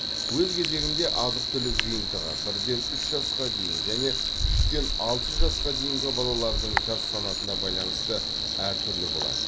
өз кезегінде азық түлік жиынтығы бірден үш жасқа дейін және үштен алты жасқа дейін балалардың жас санатына байланысты әр түрлі болады